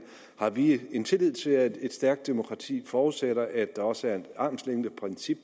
har vi en tillid til at et stærkt demokrati forudsætter at der også er et armslængdeprincip